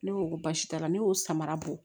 Ne ko ko baasi t'a la ne y'o samara bɔ